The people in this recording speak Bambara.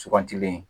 Sugantilen